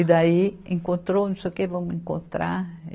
E daí, encontrou não sei o quê, vamos encontrar.